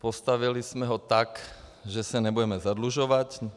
Postavili jsme ho tak, že se nebudeme zadlužovat.